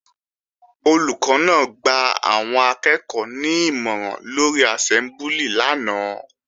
Olùkọ́ náà gba àwọn akẹ́ẹ̀kọ́ ní ìmọ̀ràn lórí àsẹ́mbúlì lánàá